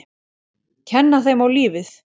Kenna þeim á lífið.